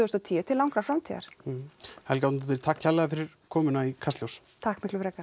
og tíu til langrar framtíðar Helga Árnadóttir takk kærlega fyrir komuna í Kastljós takk miklu frekar